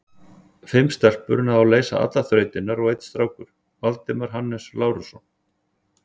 Fimm stelpur náðu að leysa allar þrautirnar og einn strákur, Valdimar Hannes Lárusson.